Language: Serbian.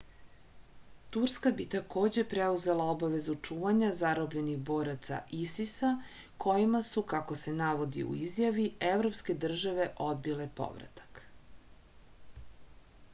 turska bi takođe preuzela obavezu čuvanja zarobljenih boraca isis-a kojima su kako se navodi u izjavi evropske države odbile povratak